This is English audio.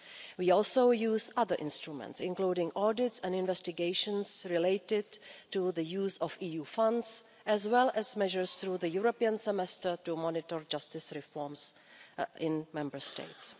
We also use other instruments, including audits and investigations related to the use of EU funds as well as measures through the European Semester to monitor justice reforms in Member States.